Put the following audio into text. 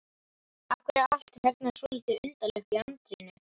Af hverju er allt hérna svolítið undarlegt í anddyrinu?